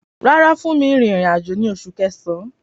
Rárá, Funmi rin ìrìn-àjò ní Oṣù Kẹsàn-án.